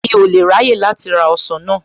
Mi ò lè ráyè láti ra ọsàn náà.